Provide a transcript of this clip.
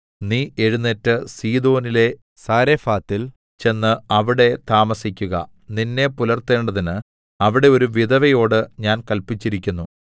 നീ എഴുന്നേറ്റ് സീദോനിലെ സാരെഫാത്തിൽ ചെന്ന് അവിടെ താമസിക്കുക നിന്നെ പുലർത്തേണ്ടതിന് അവിടെ ഒരു വിധവയോട് ഞാൻ കല്പിച്ചിരിക്കുന്നു